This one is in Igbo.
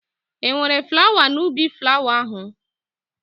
E nwere flawa n'ubi flawa ahụ?